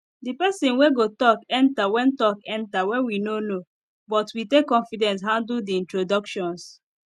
the person wey go talk enter when talk enter when we no know but we take confidence handle the introductions